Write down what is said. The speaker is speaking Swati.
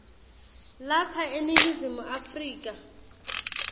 lapha eningizimu afrika